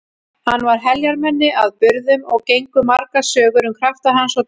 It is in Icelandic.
Hann var heljarmenni að burðum og gengu margar sögur um krafta hans og dugnað.